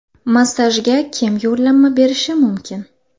Massajga kim yo‘llanma berishi mumkin?